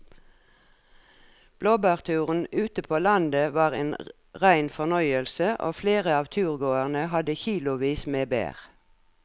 Blåbærturen ute på landet var en rein fornøyelse og flere av turgåerene hadde kilosvis med bær.